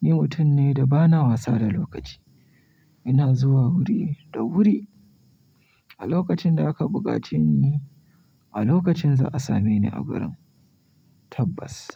ni mutum ne da bana wasa da lokaci. Ina zuwa wuri da wuri. A lokacin da aka buƙace ni, a lokacin za a same ni a wurin tabbas.